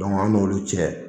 Dɔnku anw n'olu cɛ